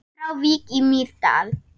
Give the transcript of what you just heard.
Frá Vík í Mýrdal